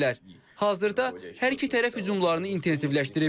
Hazırda hər iki tərəf hücumlarını intensivləşdirib.